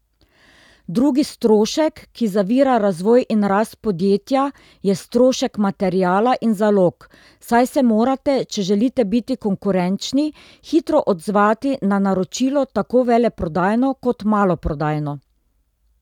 Drugi strošek, ki zavira razvoj in rast podjetja, je strošek materiala in zalog, saj se morate, če želite biti konkurenčni, hitro odzvati na naročilo, tako veleprodajno kot maloprodajno.